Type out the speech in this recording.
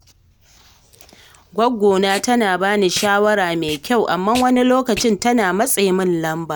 Goggona tana ba ni shawara mai kyau, amma wani lokacin tana matsa min lamba.